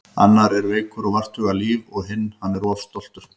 Annar er veikur og vart hugað líf og hinn. hann er of stoltur.